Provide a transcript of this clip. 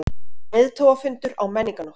Leiðtogafundur á Menningarnótt